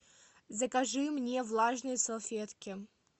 закажи мне влажные салфетки